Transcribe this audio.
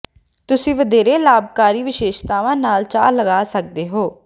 ਤੁਸੀਂ ਵਧੇਰੇ ਲਾਭਕਾਰੀ ਵਿਸ਼ੇਸ਼ਤਾਵਾਂ ਨਾਲ ਚਾਹ ਲਗਾ ਸਕਦੇ ਹੋ